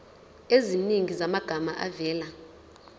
eziningi zamagama avela